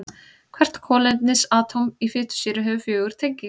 Hvert kolefnisatóm í fitusýru hefur fjögur tengi.